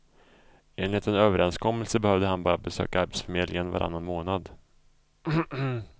Enligt en överenskommelse behövde han bara besöka arbetsförmedlingen varannan månad.